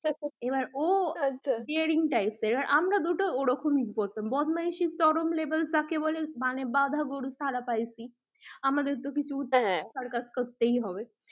এবার ও daring types এর আমরা দুটো ওরকম এ করতাম বদমাইসি র চরম level যাকে বলে মানে বাঁধা গরু ছাড়া পেয়েছি আমাদের তো কিছু circus করতেই হবে